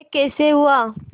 यह कैसे हुआ